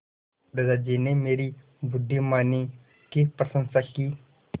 दादाजी ने मेरी बुद्धिमानी की प्रशंसा की